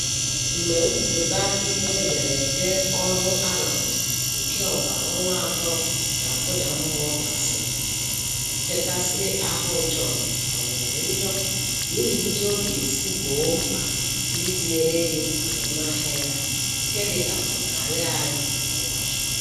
Mgbe nkwuputa ihe ederede ọrụ arụrụ nke ogbara ọnwa atọ na-akụda mmụọ gasịrị, nchekasị ahụ John kawanyere njọ n'ihi otu ọ ga esi gboo mkpa ndị tinyere ego n'azụmahịa ya nke dịka ọ na-arị arị kwa ụbọchị.